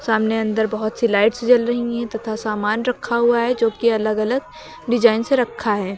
सामने अंदर बहोत सी लाइट्स जल रही हैं तथा सामान रखा हुआ है जो त कि अलग-अलग डिजाइन से रखा है।